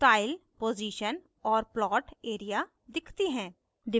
style position और plot area दिखती हैं